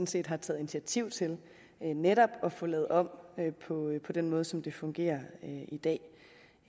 set har taget initiativ til netop at få lavet om på den måde som det fungerer i dag